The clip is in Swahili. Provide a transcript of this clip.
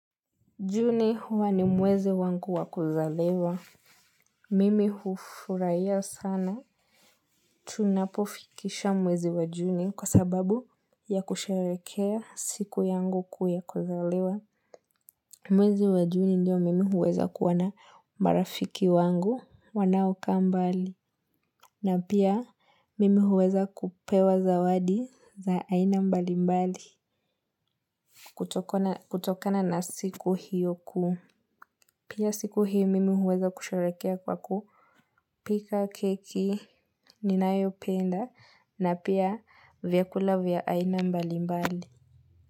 Juni huwa ni mwezi wangu wa kuzaliwa. Mimi hufuraia sana. Tunapofikisha mwezi wa june kwa sababu ya kusheherekea siku yangu ya kuzaliwa mwezi wa Juni ndio mimi huweza kuwa na marafiki wangu wanaokaa mbali. Na pia mimi huweza kupewa zawadi za aina mbali mbali. Kutokana na siku hiyo ku. Pia siku hii mimi huweza kusharehekea kwa kupika keki ninayo penda na pia vyakula vya aina mbali mbali.